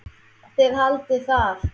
Þið haldið það.